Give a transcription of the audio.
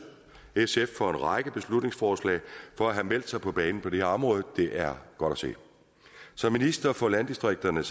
sf for en række beslutningsforslag og for at have meldt sig på banen på det her område det er godt at se som minister for landdistrikterne